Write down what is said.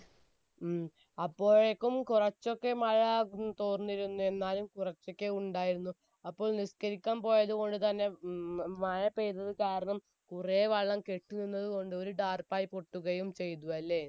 ഉം അപ്പോയെക്കും കുറച്ചൊക്കെ മഴ തോർന്നിരുന്നു എന്നാലും കുറച്ച് ഒക്കെ ഉണ്ടായിരുന്നു അപ്പോൾ നിസ്കരിക്കാൻ പോയത്കൊണ്ട് തന്നെ മഴ പൈയ്തത് കാരണം കുറെ വെള്ളം കെട്ടിനിന്നത് കൊണ്ട് ഒരു ടാർപ്പായി പൊട്ടുകയും ചെയ്തു അല്ലെ